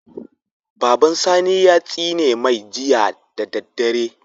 Baban sani ya tsine mai Jiya da daddare